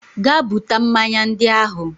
Gaa buta mmanya ndị ahụ!